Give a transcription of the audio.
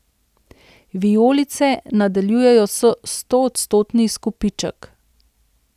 Vijolice nadaljujejo stoodstotni izkupiček.